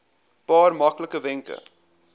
paar maklike wenke